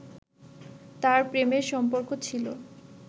তার প্রেমের সম্পর্ক ছিল